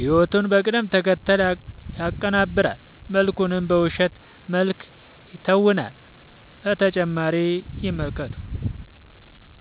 ህይወቱን በቅደም ተከተል ያቀናብራል መድረኩን በውሸት መልክ ይተውናል።…ተጨማሪ ይመልከቱ